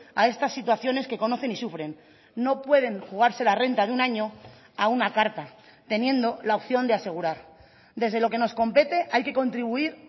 a estas situaciones que conocen y sufren no pueden jugarse la renta de un año a una carta teniendo la opción de asegurar desde lo que nos compete hay que contribuir